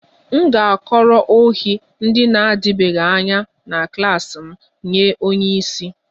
M ga-akọrọ ohi ndị na-adịbeghị anya na klas m nye onye isi